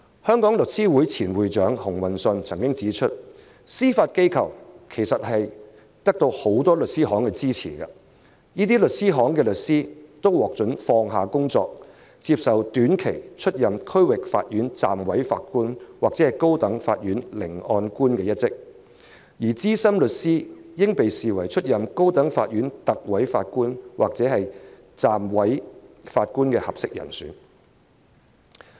香港律師會前會長熊運信曾指出，司法機構其實得到很多律師行支持，這些律師行的律師都獲准放下工作，接受短期出任區域法院暫委法官或高等法院聆案官一職，而資深律師應被視為出任高等法院特委法官或暫委法官的合適人選。